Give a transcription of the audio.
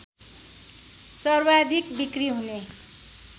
सर्वाधिक बिक्रि हुने